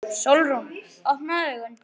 Sólrún, opnaðu augun!